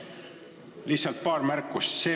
Lihtsalt paar märkust.